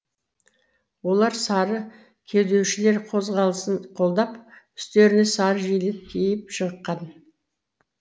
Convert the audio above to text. олар сары кеудешелер қозғалысын қолдап үстеріне сары жилі киіп шыққан